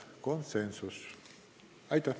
Aitäh!